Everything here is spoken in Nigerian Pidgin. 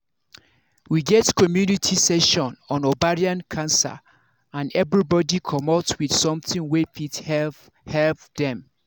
we get community session on ovarian cancer and everybody commot with something wey fit help help dem